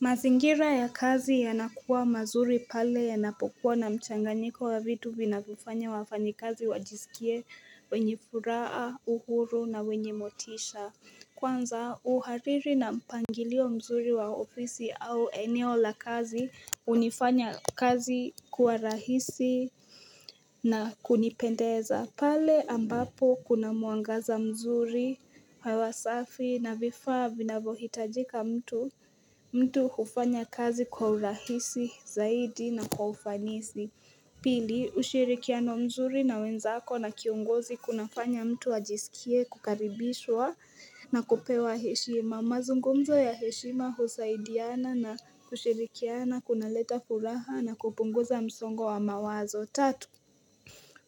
Mazingira ya kazi yanakuwa mazuri pale yanapokuwa na mchanganyiko wa vitu vinavyofanya wafanyikazi wajisikie wenye furaha, uhuru na wenye motisha. Kwanza uhariri na mpangilio mzuri wa ofisi au eneo la kazi hunifanya kazi kuwa rahisi na kunipendeza. Pendeza pale ambapo kuna mwangaza mzuri, hewa safi na vifaa vinavohitajika, mtu hufanya kazi kwa urahisi zaidi na kwa ufanisi Pili ushirikiano mzuri na wenzako na kiongozi kunafanya mtu ajisikie kukaribishwa na kupewa heshima. Mazungumzo ya heshima, kusaidiana na kushirikiana kunaleta furaha na kupunguza msongo wa mawazo tatu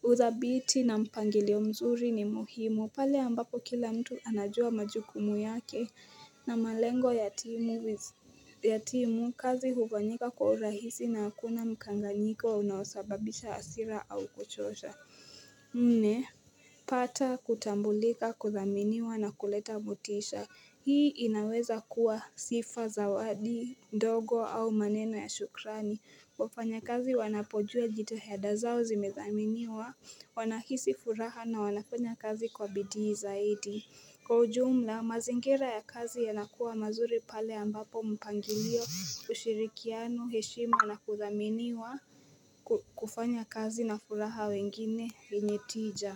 uthabiti na mpangilio mzuri ni muhimu pale ambapo kila mtu anajua majukumu yake na malengo ya timu, kazi hufanyika kwa urahisi na hakuna mkanganyiko unaosababisha hasira au kuchosha Nne pata kutambulika kuthaminiwa na kuleta motisha. Hii inaweza kuwa sifa, zawadi ndogo au maneno ya shukrani. Wafanya kazi wanapojua jitihada zao zimethaminiwa wanahisi furaha na wanafanya kazi kwa bidii zaidi Kwa ujumla mazingira ya kazi yanakuwa mazuri pale ambapo mpangilio, ushirikiano, heshima na kuthaminiwa kufanya kazi na furaha, wengine wenye tija.